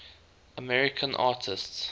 american artists